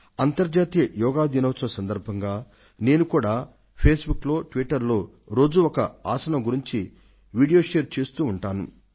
అంతర్జాతీయ యోగా దినం సందర్భంగా నేను కూడా ఫేస్ బుక్ లో ట్విట్టర్ లో రోజూ ఒక ఆసనం గురించి వీడియో ను షేర్ చేస్తూ ఉంటాను